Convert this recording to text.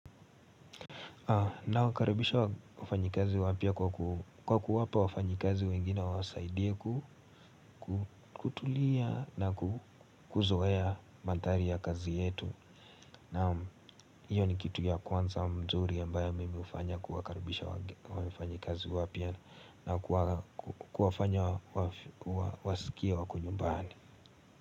Nawakaribisha wafanyikazi wapya kwa kuwapa wafanyikazi wengine wawasaidie kutulia na kuzoea manthari ya kazi yetu Naam, hiyo ni kitu ya kwanza mzuri ambayo mimi hufanya kuwakaribisha wafanyikazi wapya na kuwafanya wasikie wako nyumbani.